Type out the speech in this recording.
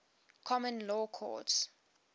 common law courts